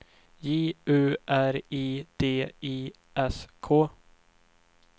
J U R I D I S K